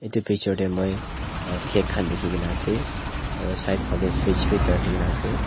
Etu picture tey moi cake khan dekhe kena ase aro side fa le fridge bei ek da rakhe kena ase.